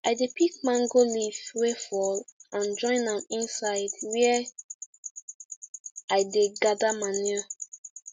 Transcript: i dey pick mango leaf wey fall and join am inside where i dey gather manure